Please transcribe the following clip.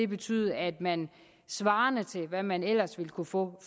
betyde at man svarende til hvad man ellers ville kunne få